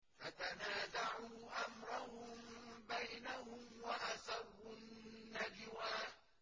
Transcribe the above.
فَتَنَازَعُوا أَمْرَهُم بَيْنَهُمْ وَأَسَرُّوا النَّجْوَىٰ